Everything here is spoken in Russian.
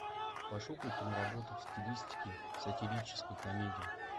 пошукай киноработу в стилистике сатирической комедии